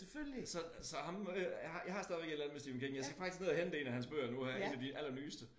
Så så ham øh jeg har jeg har stadigvæk et eller andet med Stephen King jeg skal faktisk ned og hente 1 af hans bøger nu her 1 af de allernyeste